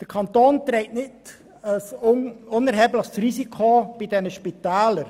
Der Kanton trägt ein nicht unerhebliches Risiko bei diesen Spitälern.